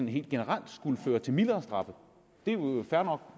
helt generelt skulle føre til mildere straffe det er jo fair nok